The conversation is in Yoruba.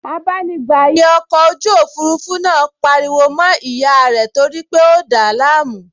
Abánigbàyè ọkọ̀ ojú òfurufú náà pariwo mọ́ ìyá rẹ̀ torípé ó dàá láàmú